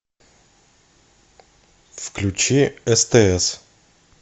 включи стс